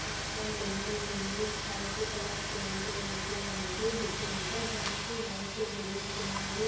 ఇక్కడ బిల్డింగ్ ఉంది.వైట్ colour paint వేసి ఉంది. నిజంగా దానికి వైట్ గ్రిల్స్ ఉన్నాయి.